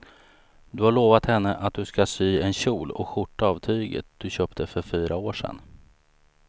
Du har lovat henne att du ska sy en kjol och skjorta av tyget du köpte för fyra år sedan.